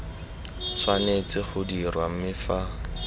tshwanetse go dirwa mme fa